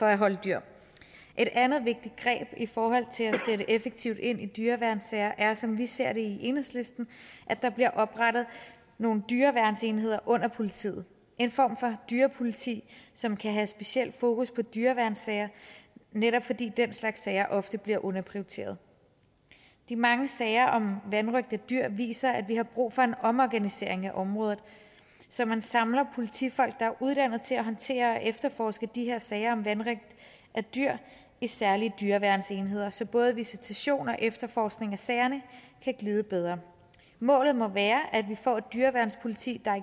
at holde dyr et andet vigtigt greb i forhold til at sætte effektivt ind i dyreværnssager er som vi ser det i enhedslisten at der bliver oprettet nogle dyreværnsenheder under politiet en form for dyrepoliti som kan have specielt fokus på dyreværnssager netop fordi den slags sager ofte bliver underprioriteret de mange sager om vanrøgt af dyr viser at vi har brug for en omorganisering af området så man samler politifolk der er uddannet til at håndtere og efterforske de her sager om vanrøgt af dyr i særlige dyreværnsenheder så både visitation og efterforskning af sagerne kan glide bedre målet må være at vi får et dyreværnspoliti der er